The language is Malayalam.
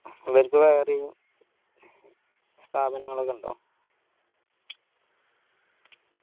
അവർക്ക് വേറെയും സ്ഥാപനങ്ങളൊക്കെ ഇണ്ടോ